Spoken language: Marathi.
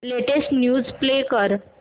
लेटेस्ट न्यूज प्ले कर